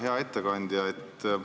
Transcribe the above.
Hea ettekandja!